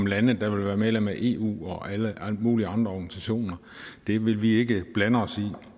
lande der vil være medlem af eu og alle mulige andre organisationer det vil vi ikke blande os i